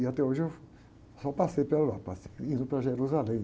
E até hoje eu só passei pela Europa, passei indo para Jerusalém.